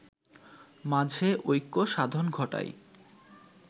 মাঝে ঐক্য সাধন ঘটায়